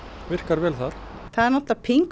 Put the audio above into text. virkar vel þar það er náttúrulega